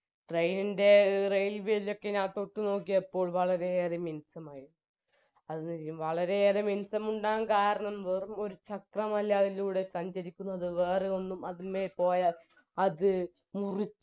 train ൻറെ railway ഒക്കെ ഞാൻ തൊട്ടുനോക്കിയപ്പോൾ വളരെയേറെ മിനുസ്സമായിരുന്നു അത്‌ വളരെയേറെ മിനുസമുണ്ടാകാൻ കാരണം വെറുമൊരു ചക്രമല്ലയിരുന്നു സഞ്ചരിക്കുന്നത് എന്നത് വേറെ ഒന്നും അത്മ്മെ പോയാൽ അത് മുറി